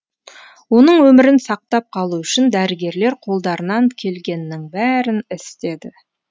оның өмірін сақтап қалу үшін дәрігерлер қолдарынан келгеннің бәрін істеді